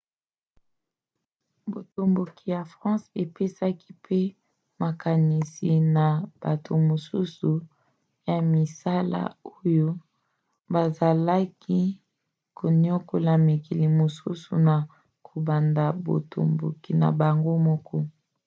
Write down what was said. botomboki ya france epesaki mpe makanisi na bato mosusu ya misala oyo bazalaki koniokola mikili mosusu na kobanda botomboki na bango moko